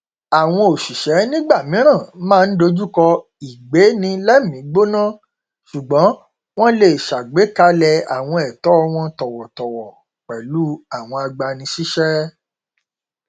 àwọn òṣìṣẹ nígbà mìíràn máa n dojúkọ ìgbéẹmígbóná ṣùgbọn wọn lè ṣàgbékalẹ àwọn ẹtọ wọn tọwọtọwọ pẹlú àwọn agbani síṣẹ